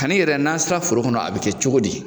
Kani yɛrɛ n'an sera foro kɔnɔ a bi kɛ cogo di